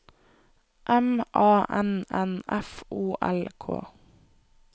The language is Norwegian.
M A N N F O L K